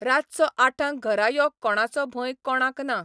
रातचो आठांक घरा यो कोणाचो भंय कोणाक ना.